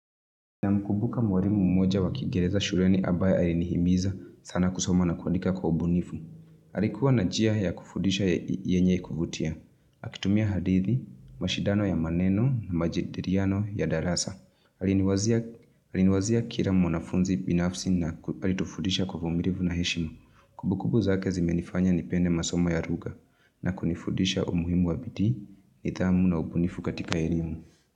Namkumbuka mwalimu mmoja wa kiingereza shuleni ambaye alinihimiza sana kusoma na kuandika kwa ubunifu. Alikuwa na njia ya kufudisha yenye kuvutia. Akitumia hadithi, mashindano ya maneno na majadiliano ya darasa. Aliniwazia Aliniwazia kila mwanafunzi binafsi na alitufundisha kwa uvumilivu na heshimu. Kumbukumbu zake zimenifanya nipende masoma ya lugha na kunifundisha umuhimu wa bidii nidhamu na ubunifu katika elimu.